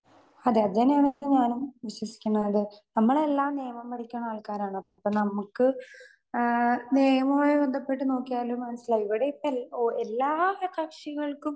Speaker 2 അതെ അതന്നെ ആണ് ഇപ്പോ ഞാനും വിശ്വസിക്കുന്നത്. നമ്മൾ എല്ലാം നിയമം പഠിക്കുന്ന ആൾക്കാരാണ്. അപ്പോ നമ്മക്ക് ആ നിയമവുമായി ബന്ധപ്പെട്ട് നോക്കിയാല് മനസിലായി. ഇവിടെ ഇപ്പോ ഓ എല്ലാ സ കക്ഷികൾക്കും